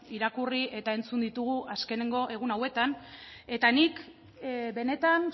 irakurri eta entzun ditugu azkeneko egun hauetan eta nik benetan